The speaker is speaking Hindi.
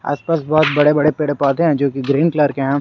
आसपास बहुत बड़े बड़े पेड़ पौधे हैं जो ग्रीन कलर के है।